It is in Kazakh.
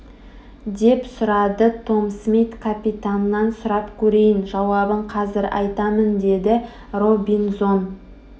деп сұрады том смит капитаннан сұрап көрейін жауабын қазір айтамын деді робинзон